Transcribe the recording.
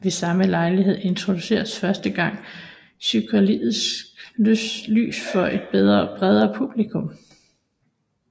Ved samme lejlighed introduceredes første gang psykedelisk lys for et bredere publikum